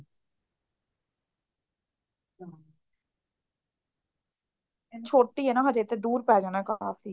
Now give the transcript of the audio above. ਛੋਟੀ ਐ ਨਾ ਹਜੇ ਤੇ ਦੂਰ ਪੈ ਜਾਣਾ ਕਾਫੀ